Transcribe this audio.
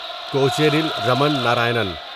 Kocheril Raman Narayanan